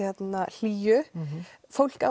hlýju fólk